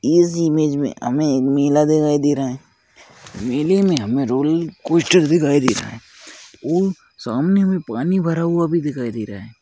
इस इमेज मे हमे एक मेला दिखाई दे रहा है मेले मे हमे रोल कोस्टर दिखाई दे रहा है वो सामने हमे पानी भी भरा हुआ भी दिखाई दे रहा है।